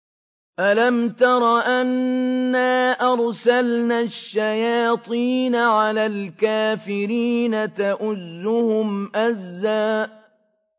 أَلَمْ تَرَ أَنَّا أَرْسَلْنَا الشَّيَاطِينَ عَلَى الْكَافِرِينَ تَؤُزُّهُمْ أَزًّا